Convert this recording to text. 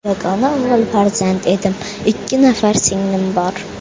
Yagona o‘g‘il farzand edim, ikki nafar singlim bor.